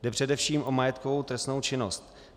Jde především o majetkovou trestnou činnost.